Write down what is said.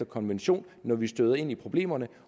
konvention når vi støder ind i problemerne